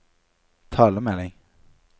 talemelding